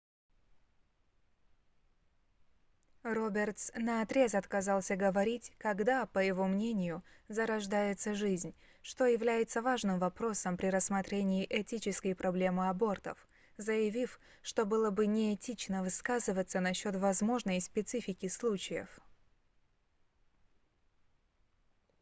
робертс наотрез отказался говорить когда по его мнению зарождается жизнь что является важным вопросом при рассмотрении этической проблемы абортов заявив что было бы неэтично высказываться насчёт возможной специфики случаев